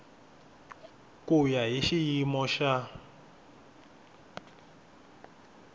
ku ya hi xiyimo xa